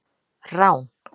Rán